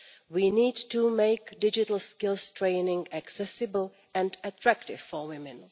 We need to make digital skills training accessible and attractive for women.